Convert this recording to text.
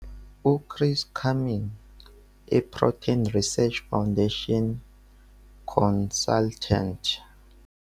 U-Chris Cumming, i-Protein Research Foundation Consultant.